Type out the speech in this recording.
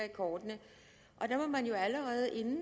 i kortene og der må man jo allerede inden